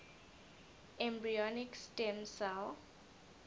embryonic stem cell